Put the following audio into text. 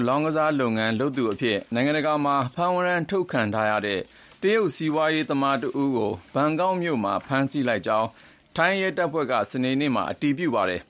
လောင်းကစားလုပ်ငန်း လုပ်သူအဖြစ် နိုင်ငံတကာမှာ ဖမ်းဝရမ်းထုတ်ခံထားရတဲ့ တရုတ်စီးပွားရေးသမား တဦးကို ဘန်ကောက်မြို့မှာ ဖမ်းဆီးလိုက်ကြောင်း ထိုင်းရဲတပ်ဖွဲ့က စနေနေ့မှာ အတည်ပြုပါတယ်